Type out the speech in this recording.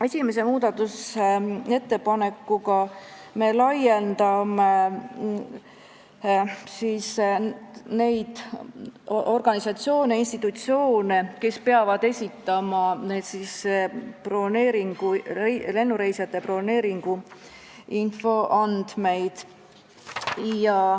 Esimese muudatusettepanekuga me suurendame nende organisatsioonide ja institutsioonide hulka, kes peavad esitama lennureisijate broneeringuinfo andmeid.